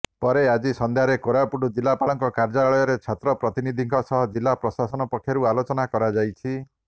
ପରେ ଆଜି ସନ୍ଧ୍ୟାରେ କୋରାପୁଟ ଜିଲ୍ଲାପାଳଙ୍କ କାର୍ଯ୍ୟାଳୟରେ ଛାତ୍ର ପ୍ରତିନିଧିଙ୍କ ସହ ଜିଲ୍ଲ ପ୍ରଶାସନ ପକ୍ଷରୁ ଆଲୋଚନା କରାଯାଇଛି